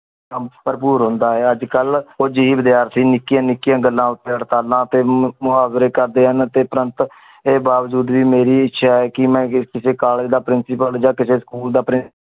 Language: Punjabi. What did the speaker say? ਕਮ ਭਰਪੂਰ ਹੁੰਦਾ ਆਏ ਅੱਜ ਕਲ ਕੁਛ ਹੀ ਵਿਦਿਆਰਥੀ ਨਿੱਕਿਆ ਨਿੱਕਿਆ ਗੱਲਾਂ ਉਤੇ ਹੜਤਾਲਾਂ ਤੇ ਮੁਹਾਵਰੇ ਕਰਦੇ ਹਨ ਪਰ ਏ ਬਾਵਜੂਦ ਵੀ ਮੇਰੀ ਇੱਛਾ ਆ ਕਿ ਕਿਸ ਕਿਸੇ ਕਾਲੇਜ ਦਾ principal ਜਾ ਕਿਸੇ ਸਕੂਲ ਦਾ principal